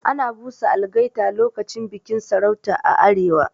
Ana busa algaita lokacin bikin sarauta a arewa.